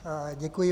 Děkuji.